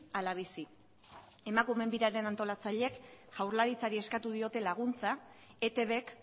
ala bizi emakumeen biraren antolatzaileek jaurlaritzari eskatu diote laguntza etbk